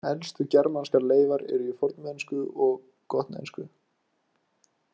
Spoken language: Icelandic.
Elstu germanskar leifar eru í fornensku og gotnesku.